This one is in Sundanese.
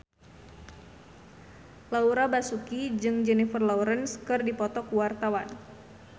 Laura Basuki jeung Jennifer Lawrence keur dipoto ku wartawan